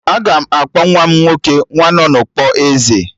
Aga m akpọ nwa m nwoke 'Nwanọnukpo Eze'